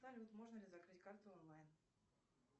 салют можно ли закрыть карту онлайн